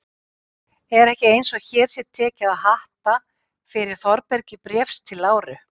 Er ekki eins og hér sé tekið að hatta fyrir Þórbergi Bréfs til Láru?